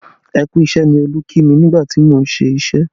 Ẹ kú isẹ ni Olú kí mi nígbà tí mo ń ṣíṣe